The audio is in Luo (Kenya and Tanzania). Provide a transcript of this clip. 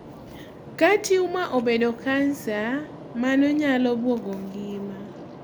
kaa tumor obedo cancer, mano nyalo buogo ngima